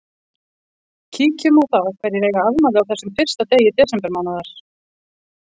Kíkjum á það hverjir eiga afmæli á þessum fyrsta degi desember mánaðar.